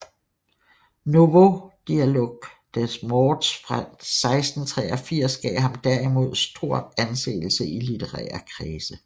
Nouveaux Dialogues des morts fra 1683 gav ham derimod stor anseelse i i litterære kredse